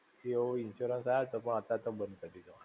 એવો insurance તો આયો તો પણ અતારે એ બંધ કરી દીધો.